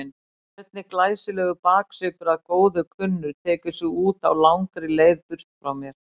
Hvernig glæsilegur baksvipur að góðu kunnur tekur sig út á langri leið burt frá mér.